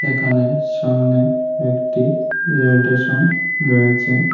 এখানে সামনে একটি রেল টেশন রয়েছে।